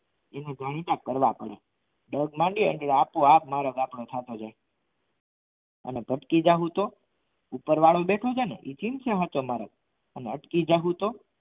થોડોક મંડી તને આપોઆપ મારા અને ભટકી જાઉં તો ઉપરવાળો બેઠો છે ને તું અને અટકી જાઉં તો